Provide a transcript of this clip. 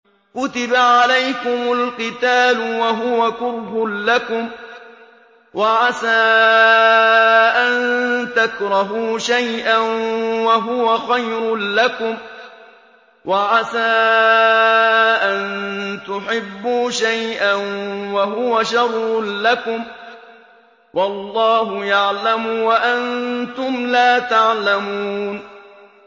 كُتِبَ عَلَيْكُمُ الْقِتَالُ وَهُوَ كُرْهٌ لَّكُمْ ۖ وَعَسَىٰ أَن تَكْرَهُوا شَيْئًا وَهُوَ خَيْرٌ لَّكُمْ ۖ وَعَسَىٰ أَن تُحِبُّوا شَيْئًا وَهُوَ شَرٌّ لَّكُمْ ۗ وَاللَّهُ يَعْلَمُ وَأَنتُمْ لَا تَعْلَمُونَ